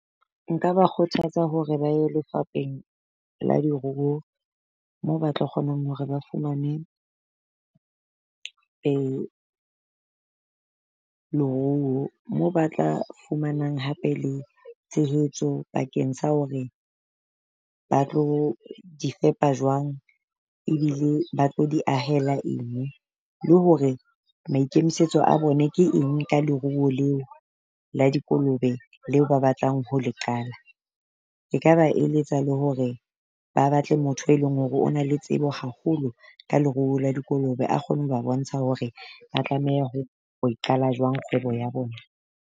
Nka ba kgothatsa hore ba e lefapeng la diruo, mo ba tlo kgonang hore ba fumane leruo moo ba tla fumanang hape le tshehetso bakeng sa hore ba tlo difepa jwang ebile ba tlo di ahela eng. Le hore maikemisetso a bone ke eng ka leruo leo la dikolobe leo ba batlang ho le qala. Nkaba eletsa le hore ba batle motho e leng hore o na le tsebo haholo ka leruo la dikolobe a kgone ho ba bontsha hore ba tlameha ho ho e qala jwang kgwebo ya bona.